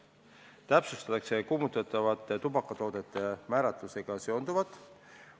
Samuti täpsustatakse kuumutatavate tubakatoodete määratlusega seonduvat.